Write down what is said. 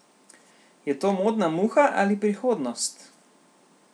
Je to modna muha ali prihodnost?